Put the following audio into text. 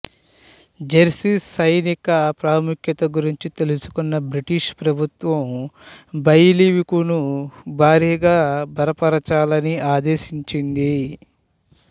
Jersey సైనిక ప్రాముఖ్యత గురించి తెలుసుకున్న బ్రిటిషు ప్రభుత్వం బెయిల్వికును భారీగా బలపరచాలని ఆదేశించింది